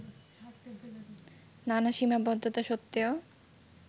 নানা সীমাবদ্ধতা সত্ত্বেও